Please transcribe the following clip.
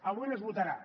avui no es votarà